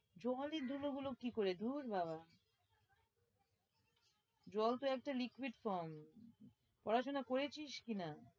জলের ধুলো গুলো কি করে? ধুর বাবা জল তো একটা liquid form পড়াশোনা করেছিস কি না?